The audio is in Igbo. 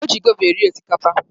O ji gova eri osikapa.